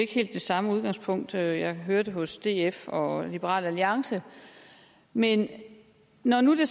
helt det samme udgangspunkt jeg hørte hos df og liberal alliance men når når det